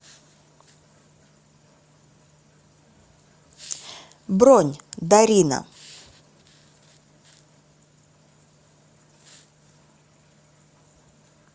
бронь дарина